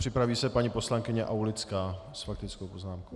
Připraví se paní poslankyně Aulická s faktickou poznámkou.